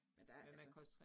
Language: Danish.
Men der er altså